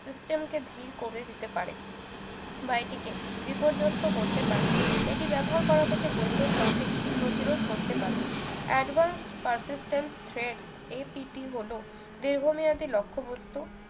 system কে ধীর করে দিতে পারে বা এটিকে বিপর্যস্ত করতে পারে এটি ব্যবহার করা থেকে বৈধ traffic প্রতিরোধ করতে পারে advance percectent thred APT হলো দীর্ঘমেয়াদি লক্ষ্য বস্তু